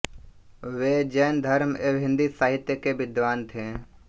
वे जैन धर्म एवं हिन्दी साहित्य के विद्वान थे